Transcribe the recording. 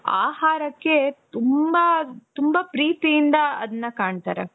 ಆಹಾರಕ್ಕೆ ತುಂಬಾ ತುಂಬಾ ಪ್ರೀತಿಯಿಂದ ಅದ್ನ ಕಾಣ್ತಾರೆ.